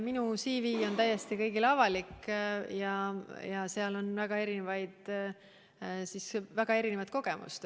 Minu CV on kõigile täiesti avalik ja seal on väga eri laadi kogemust.